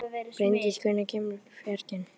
Bryndís, hvenær kemur fjarkinn?